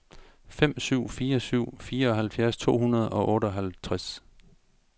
fem syv fire syv fireoghalvfjerds to hundrede og otteoghalvtreds